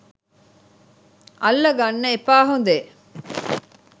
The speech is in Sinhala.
අල්ල ගන්න එපා හොදේ.